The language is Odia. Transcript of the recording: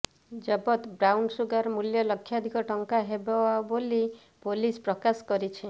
ଜବତ ବ୍ରାଉନ୍ସୁଗାରର ମୂଲ୍ୟ ଲକ୍ଷାଧିକ ଟଙ୍କା ହେବ ବୋଲି ପୁଲିସ୍ ପ୍ରକାଶ କରିଛି